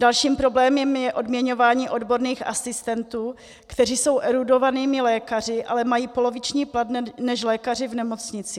Dalším problémem je odměňování odborných asistentů, kteří jsou erudovanými lékaři, ale mají poloviční plat než lékaři v nemocnici.